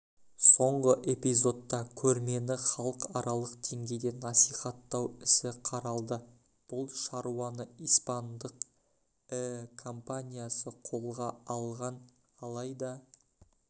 соңғы эпизодта көрмені халықаралық деңгейде насихаттау ісі қаралды бұл шаруаны испандық іі компаниясы қолға алған алайда